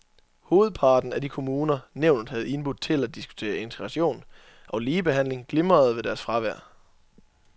Hovedparten af de kommuner, nævnet havde indbudt til at diskutere integration og ligebehandling, glimrede ved deres fravær.